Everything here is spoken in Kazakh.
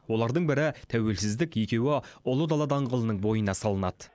олардың бірі тәуелсіздік екеуі ұлы дала даңғылының бойына салынады